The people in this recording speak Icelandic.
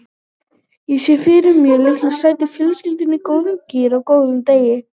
Ég sé fyrir mér litlu sætu fjölskylduna í góðum gír á góðum degi.